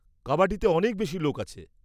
কাবাডিতে অনেক বেশি লোক আছে।